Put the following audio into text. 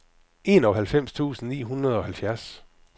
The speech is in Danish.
enoghalvfems tusind ni hundrede og halvfjerds